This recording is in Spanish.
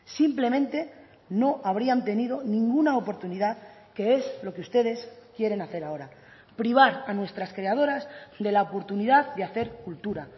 simplemente no habrían tenido ninguna oportunidad que es lo que ustedes quieren hacer ahora privar a nuestras creadoras de la oportunidad de hacer cultura